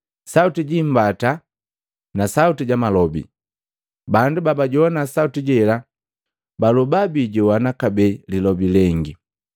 sauti ji imbata na sauti ja malobi. Bandu babajowana sauti jela baloba bijowana kabee lilobi lengi,